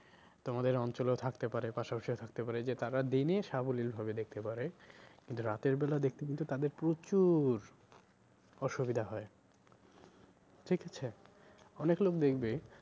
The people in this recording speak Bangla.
তোমাদের অঞ্চলেও থাকতে পারে পাশা পাশিও থাকতে পারে যে তারা দিনে সাবলীল ভাবে দেখতে পারে কিন্তু রাতের বেলা দেখতে কিন্তু তাদের প্রচুর অসুবিধা হয় ঠিক আছে? অনেক লোক দেখবে